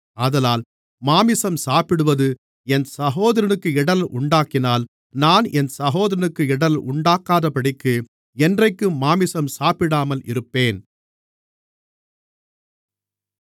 ஆதலால் மாம்சம் சாப்பிடுவது என் சகோதரனுக்கு இடறல் உண்டாக்கினால் நான் என் சகோதரனுக்கு இடறல் உண்டாக்காதபடிக்கு என்றைக்கும் மாம்சம் சாப்பிடாமல் இருப்பேன்